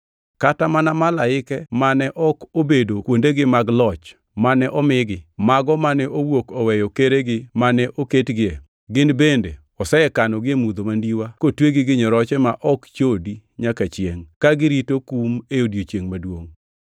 Kata mana malaike mane ok obedo kuondegi mag loch mane omigi, mago mane owuok oweyo keregi mane oketgie, gin bende osekanogi e mudho mandiwa, kotwegi gi nyoroche ma ok chodi nyaka chiengʼ, ka girito kum e odiechiengʼ maduongʼ.